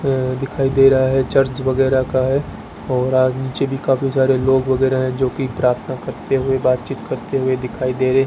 दिखाई दे रहा है चर्च वगैरा का है और अह नीचे भी काफी सारे लोग वगैरा है जो की प्रार्थना करते हुए बातचीत करते हुए दिखाई दे रहे है।